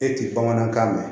E ti bamanankan mɛn